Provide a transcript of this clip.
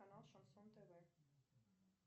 канал шансон тв